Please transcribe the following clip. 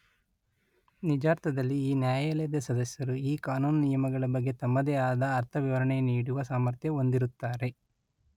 ನಿಜಾರ್ಥದಲ್ಲಿ ಈ ನ್ಯಾಯಾಲಯದ ಸದಸ್ಯರು ಈ ಕಾನೂನು ನಿಯಮಗಳ ಬಗ್ಗೆ ತಮ್ಮದೇ ಆದ ಅರ್ಥವಿವರಣೆ ನೀಡುವ ಸಾಮರ್ಥ್ಯ ಹೊಂದಿರುತ್ತಾರೆ.